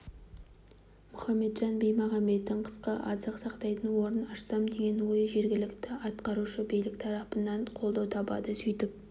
мұхамбетжан бимағанбеттің қысқы азық сақтайтын орын ашсам деген ойы жергілікті атқарушы билік тарапынан қолдау табады сөйтіп